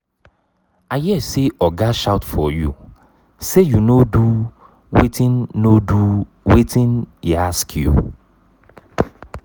i hear say oga shout for you say you no do wetin no do wetin e ask you.